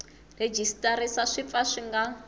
rhejisitara swi pfa swi nga